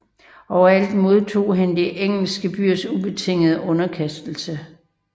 Overalt modtog han de engelske byers ubetingede underkastelse